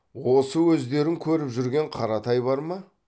осы өздерің көріп жүрген қаратай бар ма